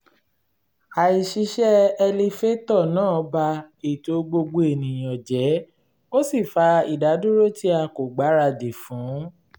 àìṣiṣẹ́ ẹlifétọ̀ náà ba ètò gbogbo ènìyàn jẹ́ ó sì fa ìdádúró tí a kò gbáradì fún